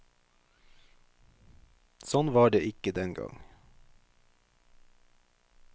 Sånn var det ikke den gang.